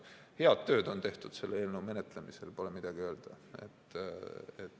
Head tööd on tehtud selle eelnõu menetlemisel, pole midagi öelda.